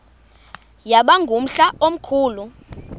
yaba ngumhla omkhulu